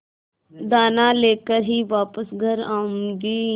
दाना लेकर ही वापस घर आऊँगी